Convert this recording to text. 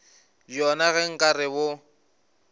bjona ge nka re bo